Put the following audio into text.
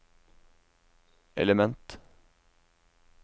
element